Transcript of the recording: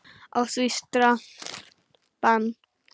Á því strangt bann.